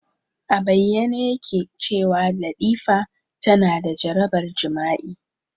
A bayyane yake cewa Latifa tana da jarabar jima'i.